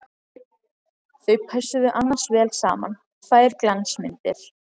Þau pössuðu annars vel saman, tvær glansmyndir!